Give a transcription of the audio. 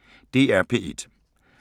DR P1